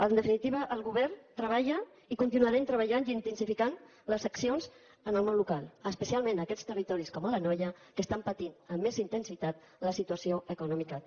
en definitiva el govern treballa i continuarem treballant i intensificant les accions en el món local especialment en aquests territoris com l’anoia que estan patint amb més intensitat la situació econòmica actual